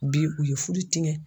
Bi u ye furu tiɲɛ